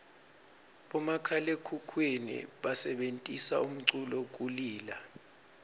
bomakhalaekhukhwini basebentisa umculu kulila